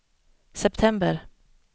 september